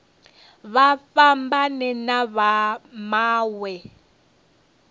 vha fhambane na vha mawe